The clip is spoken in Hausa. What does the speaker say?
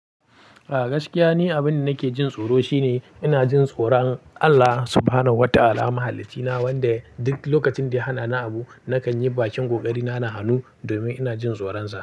A gaskiya ni abin da nake jin tsoro shine ina jin tsoron Allah subhanahu wata'ala Mahaliccina, wanda duk lokacin da ya hana ni abu nakan yi bakin ƙoƙari na na hanu domin ina jin tsoron sa.